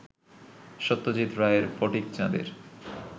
সত্যজিৎ রায়ের ফটিকচাঁদের